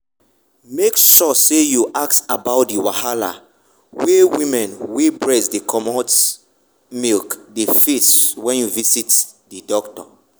make sure say you ask about the wahala wey women wey breast dey comot milk dey face when you visit the doctor.